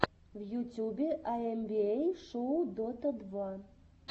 в ютюбе айэмбиэй шоу дота два